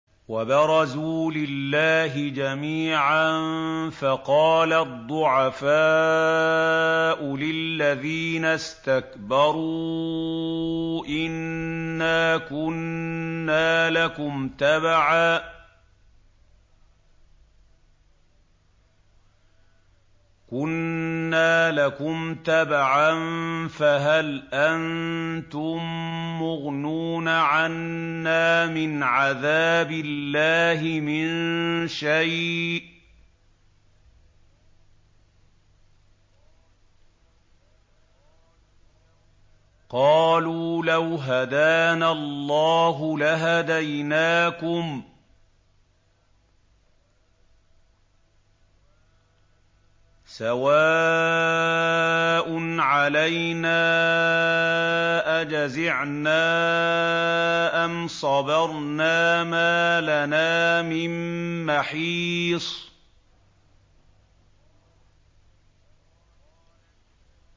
وَبَرَزُوا لِلَّهِ جَمِيعًا فَقَالَ الضُّعَفَاءُ لِلَّذِينَ اسْتَكْبَرُوا إِنَّا كُنَّا لَكُمْ تَبَعًا فَهَلْ أَنتُم مُّغْنُونَ عَنَّا مِنْ عَذَابِ اللَّهِ مِن شَيْءٍ ۚ قَالُوا لَوْ هَدَانَا اللَّهُ لَهَدَيْنَاكُمْ ۖ سَوَاءٌ عَلَيْنَا أَجَزِعْنَا أَمْ صَبَرْنَا مَا لَنَا مِن مَّحِيصٍ